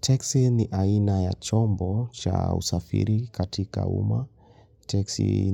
Taxi ni aina ya chombo cha usafiri katika uma. Taxi